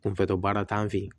Kunfɛ baara t'an fɛ yen